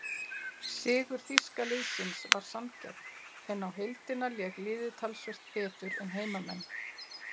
Sigur þýska liðsins var sanngjarn en á heildina lék liðið talsvert betur en heimamenn.